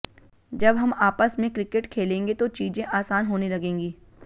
जब हम आपस में क्रिकेट खेलेंगे तो चीजें आसान होने लगेंगी